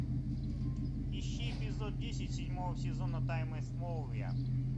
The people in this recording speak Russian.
ищи эпизод десять седьмого сезона тайны смолвиля